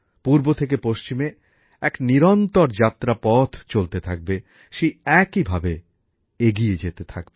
পূর্ব থেকে পশ্চিমে এক নিরন্তর যাত্রাপথ চলতে থাকবে সেই একইভাবে এগিয়ে যেতে থাকবে